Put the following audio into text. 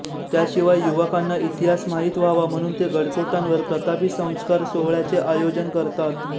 त्याशिवाय युवकांना इतिहास माहीत व्हावा म्हणून ते गडकोटांवर प्रतापी संस्कार सोहळ्याचे आयोजन करतात